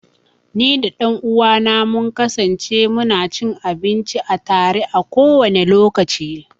Ni da ɗan uwa na mun kasance mu na cin abinci a tare, a kowane lokaci.